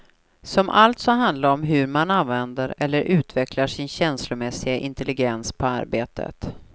Som alltså handlar om hur man använder eller utvecklar sin känslomässiga intelligens på arbetet.